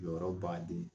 Jɔyɔrɔ baden